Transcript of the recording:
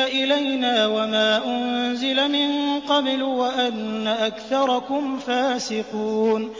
إِلَيْنَا وَمَا أُنزِلَ مِن قَبْلُ وَأَنَّ أَكْثَرَكُمْ فَاسِقُونَ